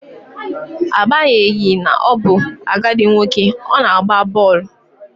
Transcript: Agbanyeghi na ọ bụ agadi nwoke, ọ na-agba bọọlụ